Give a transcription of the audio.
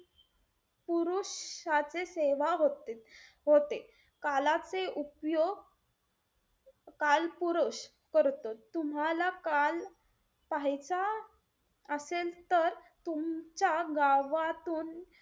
श्राद्ध सेवा होते-होते कालाचे उपयोग कालपुरुष करतो. तूम्हाला काल पाहायचा असेल तर, तुमच्या गावातून,